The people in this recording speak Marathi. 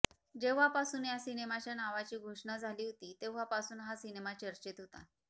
जेव्हापासून या सिनेमाच्या नावाची घोषणा झाली होती तेव्हा पासून हा सिनेमा चर्चेत होता